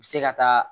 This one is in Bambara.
U bɛ se ka taa